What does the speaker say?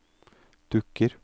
dukker